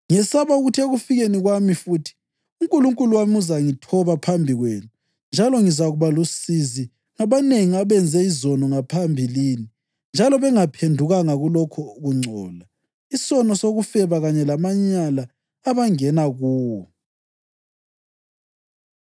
Ngiyesaba ukuthi ekufikeni kwami futhi uNkulunkulu wami uzangithoba phambi kwenu njalo ngizakuba lusizi ngabanengi abenze izono ngaphambilini njalo bengaphendukanga kulokho kungcola, isono sokufeba kanye lamanyala abangena kuwo.